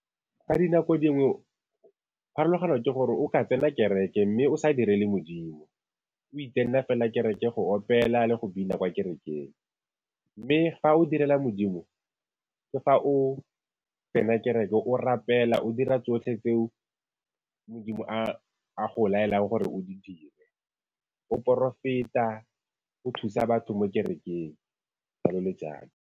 Ka dinako dingwe, pharologano ke gore o ka tsena kereke mme o sa direle Modimo. O itsenela fela kereke go opela le go bina kwa kerekeng, mme fa o direla Modimo, ke fa o o tsena kereke, o rapela o dira tsotlhe tseo Modimo a go laelang gore o di dire, o porofeta, o thusa batho mo kerekeng, jalo le jalo.